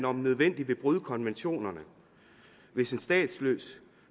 om nødvendigt vil bryde konventionerne hvis en statsløs